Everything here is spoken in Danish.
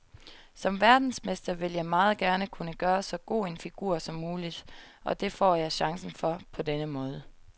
Som verdensmester vil jeg meget gerne kunne gøre så god en figur som muligt, og det får jeg chancen for på denne måde.